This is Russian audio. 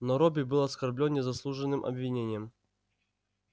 но робби был оскорблён незаслуженным обвинением